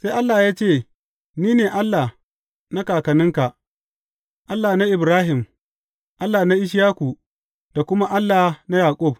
Sai Allah ya ce, Ni ne Allah na kakanninka, Allah na Ibrahim, Allah na Ishaku da kuma Allah na Yaƙub.